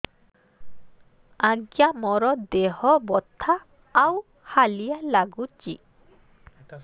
ଆଜ୍ଞା ମୋର ଦେହ ବଥା ଆଉ ହାଲିଆ ଲାଗୁଚି